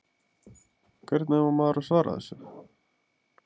Hvernig á maður að svara þessu?